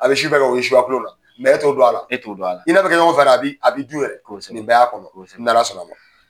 A bɛ su bɛɛ kɛ o ye suya tulon la e t'o don a la. E t'o don a la. i n'a be kɛ ɲɔgɔn fɛ yɛrɛɛ a bi a b'i dun yɛrɛ, kosɛbɛ, ni bɛ y'a kɔnɔ, kosɛbɛ, n'Ala sɔnn'a ma.